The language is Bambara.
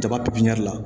Jaba pipiniyɛri la